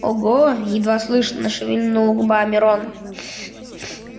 ого едва слышно шевельнул губами рон